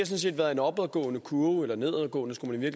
set været en opadgående kurve eller nedadgående skulle man i